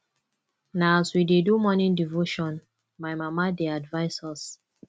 na as we dey do morning devotion my mama dey advise us